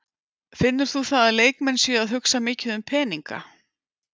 Finnur þú það að leikmenn séu að hugsa mikið um peninga?